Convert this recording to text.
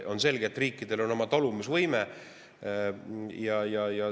On selge, et riikidel on oma taluvusvõime.